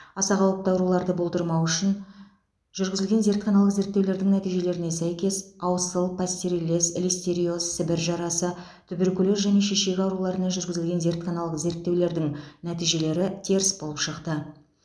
аса қауіпті ауруларды болдырмау үшін жүргізілген зертханалық зерттеулердің нәтижелеріне сәйкес аусыл пастереллез листериоз сібір жарасы туберкулез және шешек ауруларына жүргізілген зертханалық зерттеулердің нәтижелері теріс болып шықты